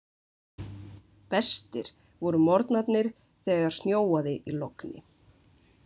Bestir voru morgnarnir þegar snjóaði í logni.